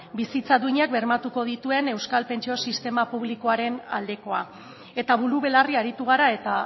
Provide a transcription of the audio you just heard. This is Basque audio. bizitza duina bermatuko dituen euskal pentsio sistema publikoaren aldekoa eta buru belarri aritu gara eta